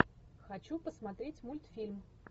хочу посмотреть мультфильм